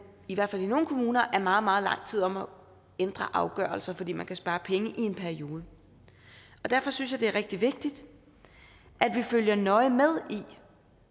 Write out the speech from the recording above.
i hvert fald i nogle kommuner er meget meget lang tid om at ændre afgørelser fordi man kan spare penge i en periode derfor synes jeg det er rigtig vigtigt at vi følger nøje med i